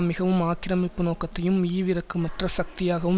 மிகவும் ஆக்கிரமிப்பு நோக்கத்தையும் ஈவிரக்கமற்ற சக்தியாகவும்